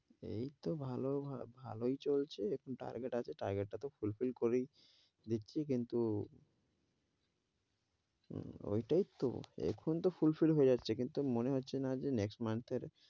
এইতো ভালো ভালোই চলছে, কিন্তু target আছে target টা তো fulfill করি দিচ্ছি কিন্তু ওইটই তো, এখন তো fulfill হয়ে যাচ্ছে, কিন্তু মনে হচ্ছে না যে next month এর,